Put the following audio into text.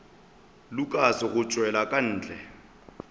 lukas go tšwela ka ntle